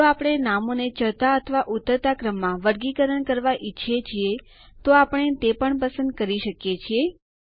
જો આપણે નામોને ચઢતા અથવા ઉતરતા ક્રમમાં વર્ગીકરણ કરવા ઈચ્છીએ તો આપણે તે પણ પસંદ કરી શકીએ છીએ